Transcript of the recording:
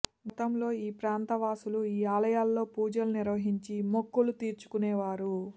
గతంలో ఈ ప్రాంత వాసులు ఈ ఆలయాల్లో పూజలు నిర్వహించి మొక్కలు తీర్చుకునే వారు